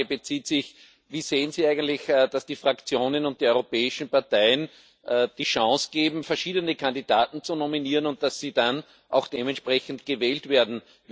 Meine Frage Wie sehen Sie eigentlich, dass die Fraktionen und die europäischen Parteien die Chance geben, verschiedene Kandidaten zu nominieren, und dass sie dann auch dementsprechend gewählt werden?